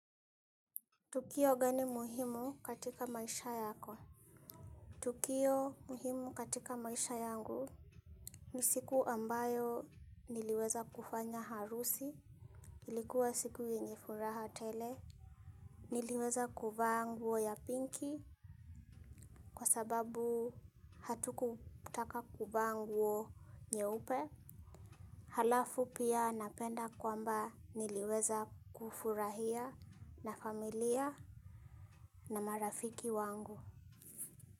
Tukio gani muhimu katika maisha yako? Tukio muhimu katika maisha yangu ni siku ambayo niliweza kufanya harusi. Ilikuwa siku yenye furaha tele. Niliweza kuvaa nguo pinki kwa sababu hatukutaka kuvaa nguo nyeupe. Halafu pia napenda kwamba niliweza kufurahia na familia na marafiki wangu.